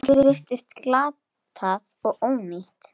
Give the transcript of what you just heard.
Allt virtist glatað og ónýtt.